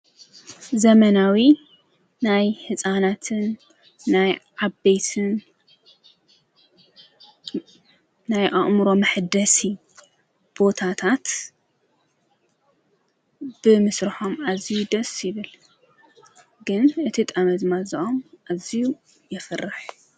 ዘመናዊ ናይ ሕፃናትን ናይ ዓበይትን ናይ ኣእምሮ መኅደስ ቦታታት ብምስ ራሖም እዚዩ ደስብል ግን እቲ ጠመዝማእዝዖም ኣዚዩ የፍርሕ።